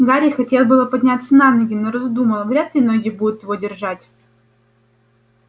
гарри хотел было подняться на ноги но раздумал вряд ли ноги будут его держать